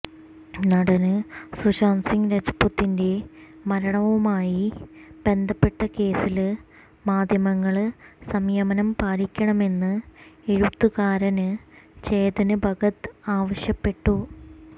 നടന് സുശാന്ത് സിങ് രജപുത്തിന്റെ മരണവുമായി ബന്ധപ്പെട്ട കേസില് മാധ്യമങ്ങള് സംയമനം പാലിക്കണമെന്ന് എഴുത്തുകാരന് ചേതന് ഭഗത് ആവശ്യപ്പെട്ടു